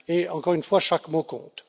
Encore une fois, chaque mot compte.